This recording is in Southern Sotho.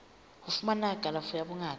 ho fumana kalafo ya bongaka